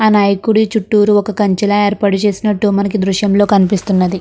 ఆ నాయకుడి చుట్టూరు ఒక కంచెలా ఏర్పాటు చేసినట్టు మనకి దృశ్యంలో కనిపిస్తున్నది.